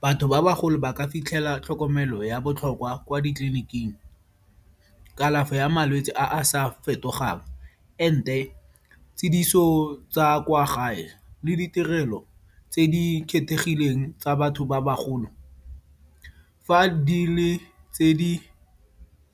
Batho ba bagolo ba ka fitlhela tlhokomelo ya botlhokwa kwa ditleliniking. Kalafo ya malwetse a a sa fetogang and-e tshediso tsa kwa gae le ditirelo tse di kgethegileng tsa batho ba bagolo. Fa di le tse di